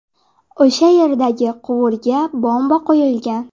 O‘sha yerdagi quvurga bomba qo‘yilgan.